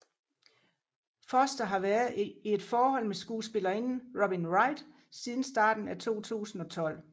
Foster har været i et forhold med skuespillerinden Robin Wright siden starten af 2012